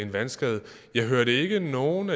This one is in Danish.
vandskade jeg hørte ikke nogen